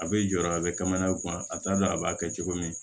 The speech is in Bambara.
A bɛ jɔ a bɛ kaman u kunna a t'a dɔn a b'a kɛ cogo min